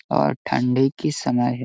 और ठंडी की समय है।